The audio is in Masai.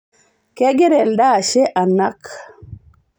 kegira elde ashe anak